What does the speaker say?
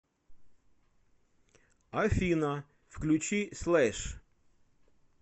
афина включи слэш